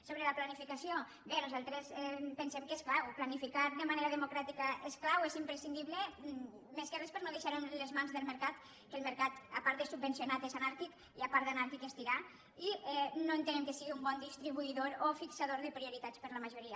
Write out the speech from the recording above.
sobre la planificació bé nosaltres pensem que és clar planificar de manera democràtica és clau és im·prescindible més que res per a no deixar·ho en les mans del mercat que el mercat a part de subvencio·nat és anàrquic i a part d’anàrquic és tirà i no ente·nem que sigui un bon distribuïdor o fixador de priori·tats per a la majoria